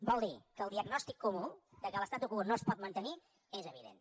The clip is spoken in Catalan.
vol dir que el diagnòstic comú que l’statu quo no es pot mantenir és evident